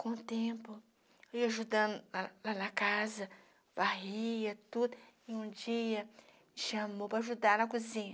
Com o tempo, eu ajudando lá na lá na casa, varria tudo, e um dia chamou para ajudar na cozinha.